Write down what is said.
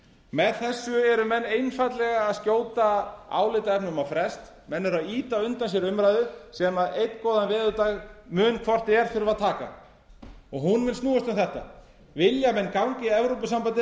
með þessu eru menn einfaldlega að skjóta álitaefnum á frest menn eru að ýta undan sér umræðu sem einn góðan veðurdag mun hvort eð er þurfa að taka hún mun snúast um þetta vilja menn ganga í evrópusambandið eða ekki